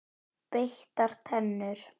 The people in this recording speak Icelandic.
Beittar tennur.